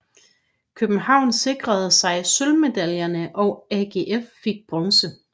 København sikrede sig sølvmedaljerne og AGF fik bronze